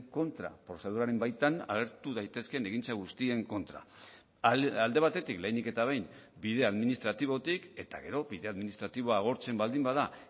kontra prozeduraren baitan agertu daitezkeen egintza guztien kontra alde batetik lehenik eta behin bide administratibotik eta gero bide administratiboa agortzen baldin bada